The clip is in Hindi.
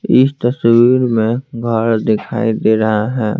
इस तस्वीर में घर दिखाई दे रहा है।